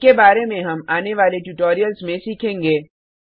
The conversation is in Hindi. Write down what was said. इनके बारे में हम आने वाले ट्यूटोरियल्स में सीखेंगे